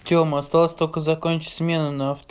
тема осталось только закончить смену